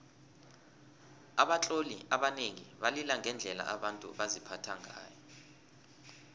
abatloli abanengi balila ngendlela abantu baziphatha ngayo